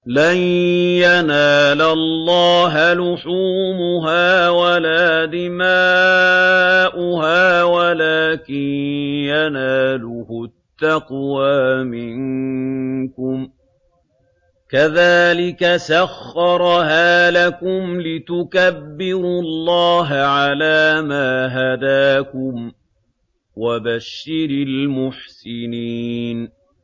لَن يَنَالَ اللَّهَ لُحُومُهَا وَلَا دِمَاؤُهَا وَلَٰكِن يَنَالُهُ التَّقْوَىٰ مِنكُمْ ۚ كَذَٰلِكَ سَخَّرَهَا لَكُمْ لِتُكَبِّرُوا اللَّهَ عَلَىٰ مَا هَدَاكُمْ ۗ وَبَشِّرِ الْمُحْسِنِينَ